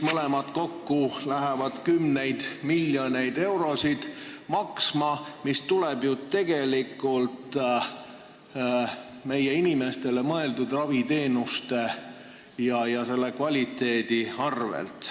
Mõlemad kokku lähevad maksma kümneid miljoneid eurosid ja see raha tuleb ju meie inimestele mõeldud raviteenuste ja arstiabi kvaliteedi arvelt.